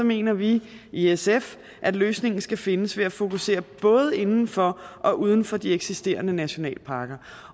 mener vi i sf at løsningen skal findes ved at fokusere både inden for og uden for de eksisterende nationalparker